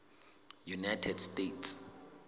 united states